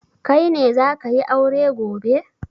Kai ne za ka yi aure gobe?